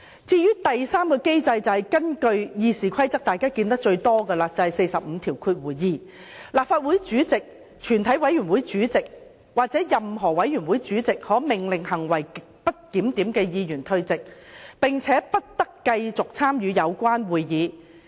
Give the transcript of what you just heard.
至於第三個機制，便是最常見的《議事規則》第452條。立法會主席、全體委員會主席或任何委員會主席可命令行為極不檢點的議員退席，不得繼續參與有關會議。